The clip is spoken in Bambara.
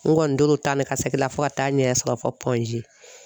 N kɔni tor'o ta ne ka segin la fo ka taa ɲɛ sɔrɔ fɔ